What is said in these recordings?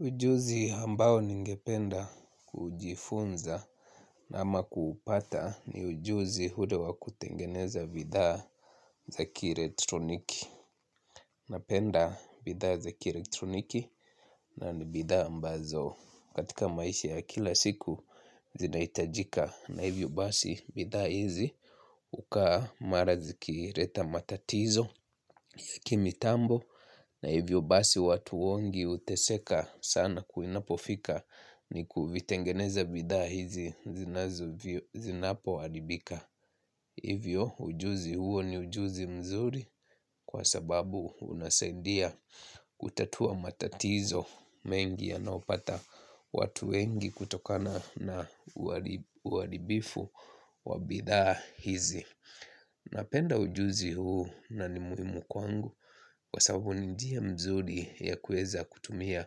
Ujuzi ambao ningependa kujifunza ama kuupata ni ujuzi ule wa kutengeneza bidhaa za kielektroniki, napenda bidhaa za kielektroniki na ni bidhaa ambazo. Katika maisha ya kila siku zinahitajika na hivyo basi bidhaa hizi hukaa mara zikileta matatizo ya kimitambo na hivyo basi watu wengi huteseka sana ku inapofika ni kuvitengeneza bidha hizi zinapoharibika. Hivyo ujuzi huo ni ujuzi mzuri kwa sababu unasaidia kutatua matatizo mengi yanaopata watu wengi kutokana na uharibifu wa bidhaa hizi. Napenda ujuzi huu na ni muhimu kwangu kwa sababu ni njia mzuri ya kuweza kutumia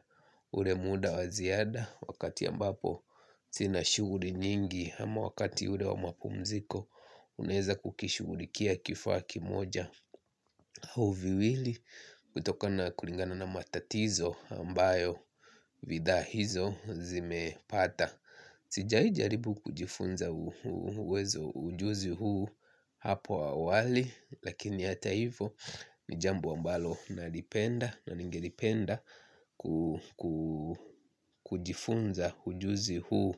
ule muda wa ziada wakati ambapo sina shughuli nyingi. Ama wakati ule wa mapumziko unaweza kukishughulikia kifaa kimoja au viwili. Hutokana kulingana na matatizo ambayo bidhaa hizo zimepata. Sijai jaribu kujifunza uwezo ujuzi huu hapo awali lakini hata hivo ni jambo ambalo nalipenda na ningelipenda kujifunza ujuzi huu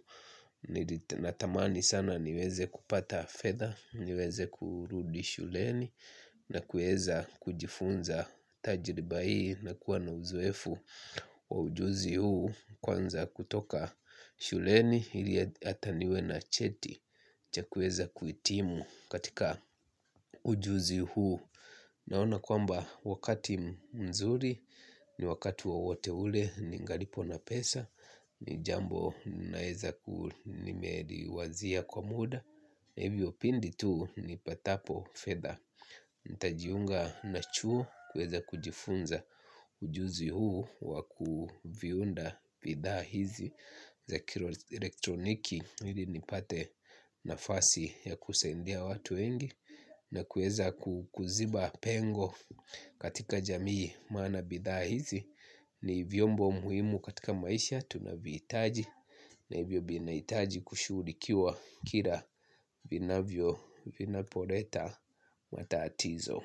natamani sana niweze kupata fedha, niweze kurudi shuleni na kuweza kujifunza tajriba hii na kuwa na uzoefu wa ujuzi huu kwanza kutoka shuleni ili hata niwe na cheti cha kuweza kuhitimu katika ujuzi huu naona kwamba wakati mzuri, ni wakati wowote ule, ningalipo na pesa, ni jambo naeza ku nimeliwazia kwa muda, na hivyo pindi tu nipatapo fedha. Nitajiunga na chuo kuweza kujifunza ujuzi huu wa kuviunda bidhaa hizi za kielektroniki ili nipate nafasi ya kusaidia watu wengi na kuweza kuziba pengo katika jamii maana bidhaa hizi ni vyombo muhimu katika maisha tunavihitaji na hivyo ndivyo inahitaji kushughulikiwa kila vinavyo vinapoleta matatizo.